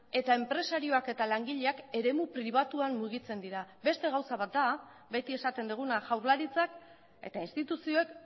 eta enpresarioak eta langileak eremu pribatuan mugitzen dira beste gauza bat da beti esaten duguna jaurlaritzak eta instituzioek